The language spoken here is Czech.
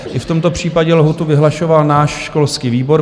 I v tomto případě lhůtu vyhlašoval náš školský výbor.